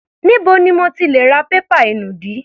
Níbo ni mo ti lè ra pépà inùdí?